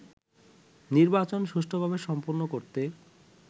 নির্বাচন সুষ্ঠুভাবে সম্পন্ন করতে